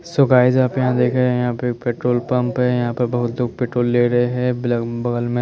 सुभह जब यहाँ देखे यहाँ पेट्रोल पंप है यहाँ पे बहुत लोग पेट्रोल ले रहे है बी बगल में --